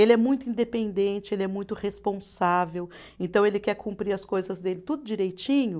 Ele é muito independente, ele é muito responsável, então ele quer cumprir as coisas dele tudo direitinho.